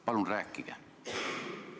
Palun rääkige!